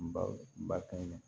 N ba kɛnɛ